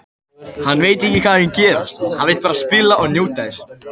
Hann veit ekki hvað mun gerast, hann vill bara spila og njóta þess.